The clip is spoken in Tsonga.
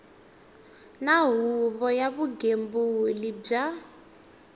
na huvo ya vugembuli bya